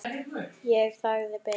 Ég þagði, beið.